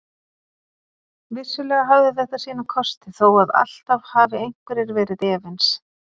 Vissulega hafði þetta sína kosti þó að alltaf hafi einhverjir verið efins.